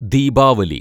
Deepavali